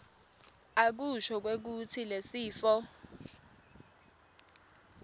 akusho kwekutsi lesifo